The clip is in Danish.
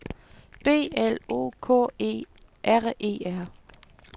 B L O K E R E R